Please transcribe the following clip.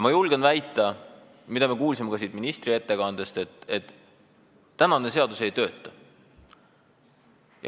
Me kuulsime ka siit ministri ettekandest, et tänane seadus ei tööta.